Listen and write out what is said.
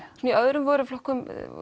í öðrum vöruflokkum